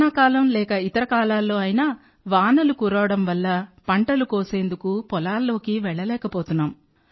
వానాకాలం లేక ఇతర కాలాల్లో అయినా వానలు కురవడం వల్ల పంటలు కోసేందుకు పొలాల్లోకి వెళ్లలేకపోతున్నాం